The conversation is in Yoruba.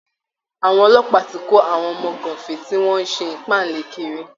Àwọn ọlọ́pàá ti kó àwọn ọmọ gàǹfé tí wọ́n ń ṣe ìpáǹle kiri